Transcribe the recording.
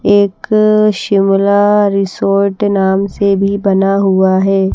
एक शिमला रिसोड नाम से भी बना हुआ है।